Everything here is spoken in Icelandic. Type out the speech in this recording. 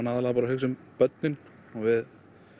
aðallega bara að hugsa um börnin og við